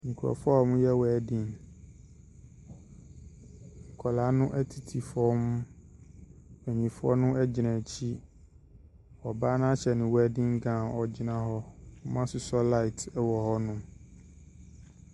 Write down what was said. Nkorɔfoɔ aa ɔmo yɛ wɛden nkɔlaa no ɛtete fɔm mpanyinfoɔ no egyina ekyi ɔbaa no ahyɛ ne wɛden gawn ogyina hɔ ɔmo asosɔ laat wɔ hɔ nom.